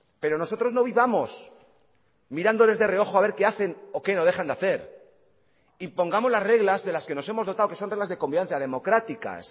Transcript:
pero nosotros no vivamos mirándoles de reojo a ver qué hacen o qué no dejan de hacer e impongamos las reglas de las que nos hemos dotado que son reglas de convivencia democráticas